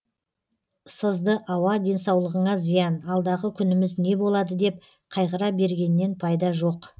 сызды ауа денсаулығыңа зиян алдағы күніміз не болады деп қайғыра бергеннен пайда жоқ